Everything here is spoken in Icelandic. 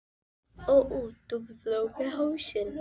ó, ó, Tóti flaug á hausinn.